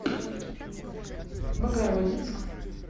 богородицк